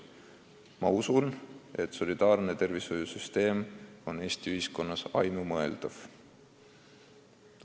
Ma usun, et solidaarne tervishoiusüsteem on Eesti ühiskonnas ainumõeldav.